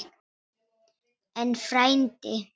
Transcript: En, frændi